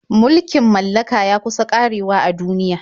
Mulkin mallaka ya kusa ƙarewa a duniya.